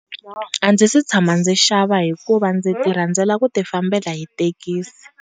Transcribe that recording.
A ndzi si tshama ndzi xava hikuva ndzi ti rhandzela ku ti fambela hi thekisi.